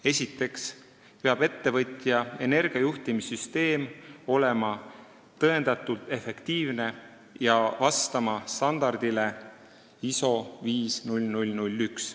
Esiteks peab ettevõtja energiajuhtimissüsteem olema tõendatult efektiivne ja vastama standardile ISO 50001.